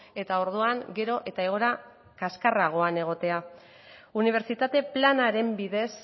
eta orduan gero eta egoera kaxkarragoan egotea unibertsitate planaren bidez